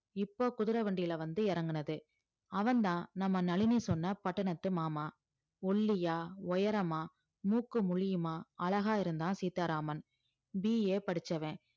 இப்ப குதிரை வண்டியில வந்து இறங்குனது அவன்தான் நம்ம நளினி சொன்ன பட்டணத்து மாமா ஒல்லியா உயரமா மூக்கும் முழியுமா அழகா இருந்தான் சீதாராமன் BA படிச்சவன்